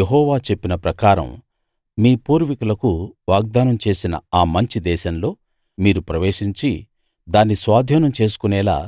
యెహోవా చెప్పిన ప్రకారం మీ పూర్వీకులకు వాగ్దానం చేసిన ఆ మంచి దేశంలో మీరు ప్రవేశించి దాన్ని స్వాధీనం చేసుకొనేలా